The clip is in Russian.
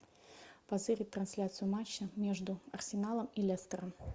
позырить трансляцию матча между арсеналом и лестером